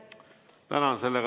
Tänan!